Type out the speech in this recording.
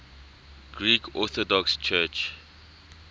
greek orthodox church